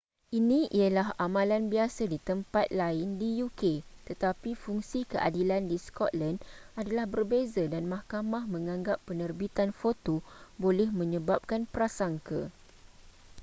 ini ialah amalan biasa di tempat lain di uk tetapi fungsi keadilan di scotland adalah berbeza dan mahkamah menganggap penerbitan foto boleh menyebabkan prasangka